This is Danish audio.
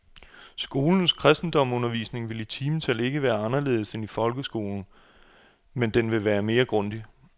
Skolens kristendomsundervisning vil i timetal ikke være anderledes end i folkeskolen, men den vil være mere grundig.